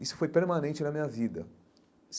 Isso foi permanente na minha vida.